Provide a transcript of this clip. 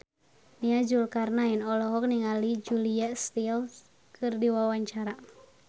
Nia Zulkarnaen olohok ningali Julia Stiles keur diwawancara